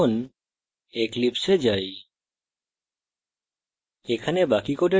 এখন eclipse এ যাই